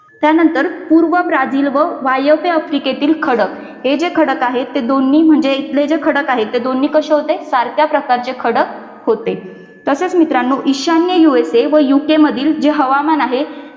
त्यानंतर पूर्व ब्राझील व वायव्य आफ्रिकेतील खडक जे खडक आहेत ते दोन्ही म्हणजे इथले जे खडक आहेत ते दोन्ही कसे होते सारख्या प्रकारचे खडक होते तसेच मित्रांना ईशान्य usa व UK मधील हवामान आहे.